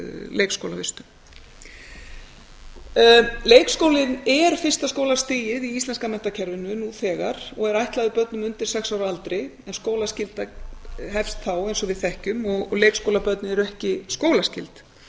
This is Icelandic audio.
leikskólavistun leikskólinn er fyrsta stigið í íslenska menntakerfinu nú þegar og er ætlaður börnum undir sex ára aldri en skólaskylda hefst þá eins og við þekkjum og leikskólabörn eru ekki skólaskyld